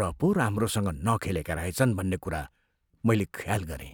र पो राम्रोसँग नखेलेका रहेछन् भन्ने कुरा मैले ख्याल गरेँ।